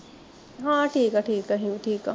ਹਾਂ ਠੀਕ ਐ ਠੀਕ ਐ ਅਸੀਂ ਵੀ ਠੀਕ ਐ